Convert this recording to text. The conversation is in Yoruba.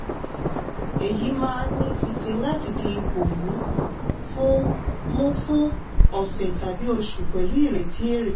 èyí máa ní fiṣe láti di ipò mú fún mú fún ọ̀sẹ̀ tàbí oṣù pẹ̀lú ìrètí èrè.